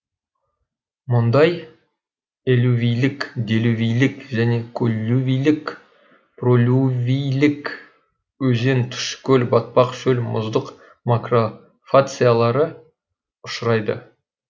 мұнда элювийлік делювийлік және коллювийлік пролювийлік өзен тұщы көл батпақ шөл мұздық макрофациялары ұшырайды